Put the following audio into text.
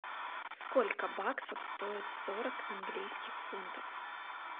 сколько баксов стоит сорок английских фунтов